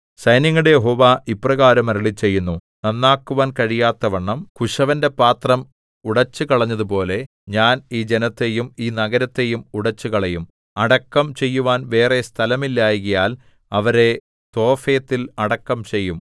സൈന്യങ്ങളുടെ യഹോവ ഇപ്രകാരം അരുളിച്ചെയ്യുന്നു നന്നാക്കുവാൻ കഴിയാത്തവണ്ണം കുശവന്റെ പാത്രം ഉടച്ചുകളഞ്ഞതുപോലെ ഞാൻ ഈ ജനത്തെയും ഈ നഗരത്തെയും ഉടച്ചുകളയും അടക്കം ചെയ്യുവാൻ വേറെ സ്ഥലമില്ലായ്കയാൽ അവരെ തോഫെത്തിൽ അടക്കം ചെയ്യും